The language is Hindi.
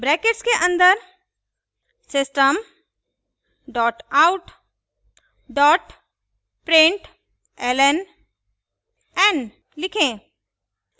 ब्रैकेट्स के अन्दर system out println n; लिखें